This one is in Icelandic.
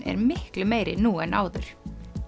er miklu meiri nú en áður